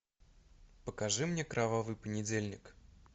покажи мне кровавый понедельник